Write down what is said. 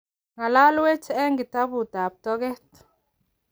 Ng"alalwech eng kitabutab toget.